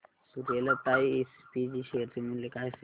Suryalata SPG share चे मूल्य काय असेल